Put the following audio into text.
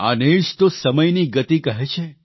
આને જ તો સમયની ગતિ કહે છે